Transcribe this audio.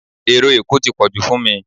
Ero Èkó tí pọ̀jù fún mi